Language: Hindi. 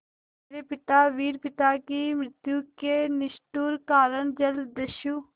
मेरे पिता वीर पिता की मृत्यु के निष्ठुर कारण जलदस्यु